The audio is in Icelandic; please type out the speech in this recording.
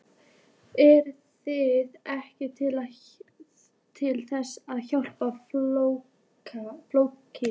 Eruð þið ekki til þess að hjálpa fólki?